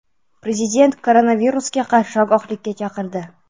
Prezident koronavirusga qarshi ogohlikka chaqirdi.